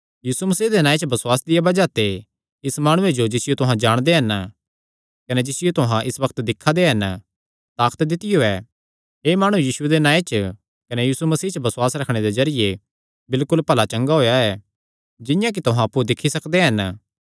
यीशु मसीह दे नांऐ च बसुआसे दिया बज़ाह ते इस माणुये जो जिसियो तुहां जाणदे हन कने जिसियो तुहां इस बग्त दिक्खा दे हन ताकत दित्तियो ऐ एह़ माणु यीशुये दे नांऐ च कने यीशु मसीह च बसुआसे दे जरिये बिलकुल भला चंगा होएया ऐ जिंआं कि तुहां अप्पु दिक्खी सकदे हन